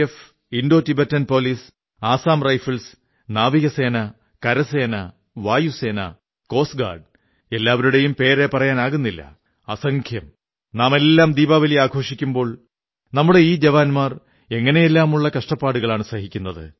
F Indo Tibetan police Assam rifles ജലസേന കരസേന വായുസേന കോസ്റ്റ്ഗാഡ് എല്ലാവരുടെയും പേരു പറയാനാകുന്നില്ല അസംഖ്യം നാമെല്ലാം ദീപാവലി ആഘോഷിക്കുമ്പോൾ നമ്മുടെ ഈ ജവാന്മാർ എങ്ങനെയെല്ലാമുള്ള കഷ്ടപ്പാടുകളാണു സഹിക്കുന്നത്